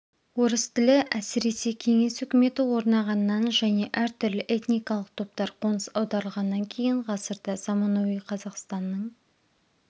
орыс тілі әсіресе кеңес үкіметі орнағаннан және әртүрлі этникалық топтар қоныс аударылғаннан кейін ғасырда заманауи қазақстанның